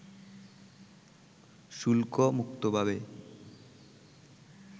শুল্ক মুক্তভাবে